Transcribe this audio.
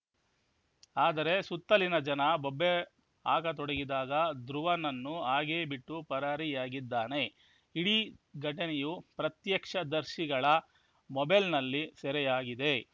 ಆದರೆ ಸುತ್ತಲಿನ ಜನ ಬೊಬ್ಬೆ ಆಗ ತೊಡಗಿದಾಗ ಧ್ರುವನನ್ನು ಹಾಗೇ ಬಿಟ್ಟು ಪರಾರಿಯಾಗಿದ್ದಾನೆ ಇಡೀ ಘಟನೆಯು ಪ್ರತ್ಯಕ್ಷದರ್ಶಿಗಳ ಮೊಬೈಲ್‌ನಲ್ಲಿ ಸೆರೆಯಾಗಿದೆ